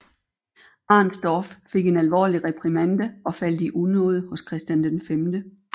Arensdorf fik en alvorlig reprimande og faldt i unåde hos Christian 5